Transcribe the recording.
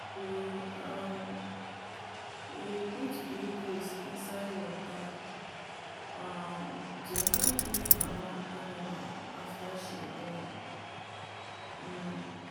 we um dey put glucose inside water um to help weak mama animal after she born. um